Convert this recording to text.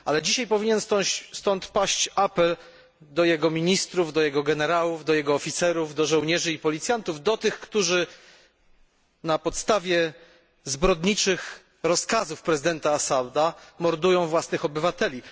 Ale dzisiaj powinien stąd paść apel do jego ministrów, generałów, oficerów, do żołnierzy i policjantów, do tych, którzy na podstawie zbrodniczych rozkazów prezydenta Assada mordują własnych obywateli.